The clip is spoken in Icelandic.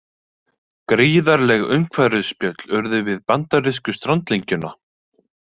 Gríðarleg umhverfisspjöll urðu við bandarísku strandlengjuna